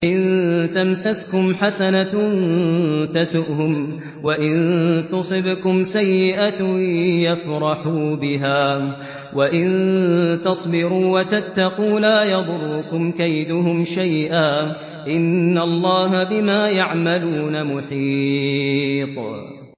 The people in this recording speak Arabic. إِن تَمْسَسْكُمْ حَسَنَةٌ تَسُؤْهُمْ وَإِن تُصِبْكُمْ سَيِّئَةٌ يَفْرَحُوا بِهَا ۖ وَإِن تَصْبِرُوا وَتَتَّقُوا لَا يَضُرُّكُمْ كَيْدُهُمْ شَيْئًا ۗ إِنَّ اللَّهَ بِمَا يَعْمَلُونَ مُحِيطٌ